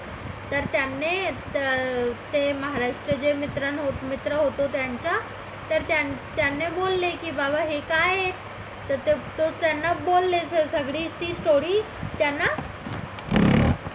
तर त्याने ते महाराष्ट्रीयन जे मित्र होता त्यांचा तर त्याने बोलले की बाबा हे काय आहे तर तो त्यांना बोलले की सगळी story त्यांना